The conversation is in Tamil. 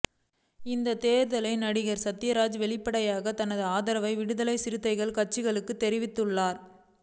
இந்தத் தேர்தலில் நடிகர் சத்யராஜ் வெளிப்படையாக தனது ஆதரவை விடுதலைச் சிறுத்தைகள் கட்சிக்குத் தெரிவித்துள்ளார்